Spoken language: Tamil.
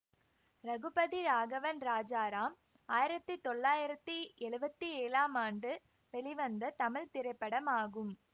ரகுபதி ராகவன் ராஜாராம் ஆயிரத்தி தொள்ளாயிரத்தி எழுவத்தி ஏழாம் ஆண்டு வெளிவந்த தமிழ் திரைப்படமாகும்